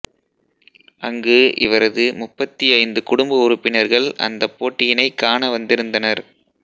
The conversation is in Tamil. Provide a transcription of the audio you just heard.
அங்கு இவரது முப்பத்தி ஐந்து குடும்ப உறுப்பினர்கள் அந்தப் போட்டியினைக் காண வந்திருந்தனர்